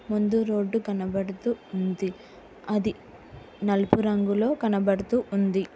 ముందు రోడ్డు కనబడుతూ ఉంది అది నలుపు రంగులో కనబడుతూ ఉంది.